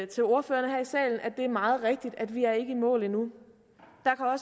til ordførerne her i salen at det er meget rigtigt at vi ikke er i mål endnu